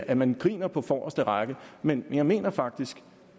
at man griner på forreste række men jeg mener faktisk